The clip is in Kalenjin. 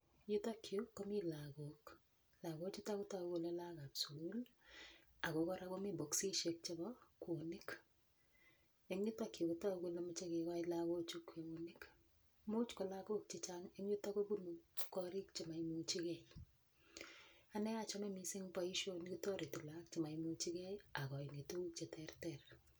Yutokyu komi lakok lakochuto kotoku kole lakokab sukul ako kora komi bokisishek chebo kwonik eng' yutokyu kotoku kole michei kekoch lakochu kweyonik muuch ko lakok chechang' eng' yuto kobunu korik chemaimuchigei ane achome mising' boishoni kotoreti lakok chemaimuchigei akoini tukun cheterter.